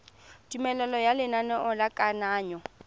tumelelo ya lenaneo la kananyo